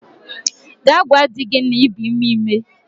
Gaa gwa di gi na i bu ime ime!